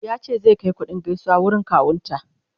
ya ce zai Kai kuɗin gaisuwa wurin kawun ta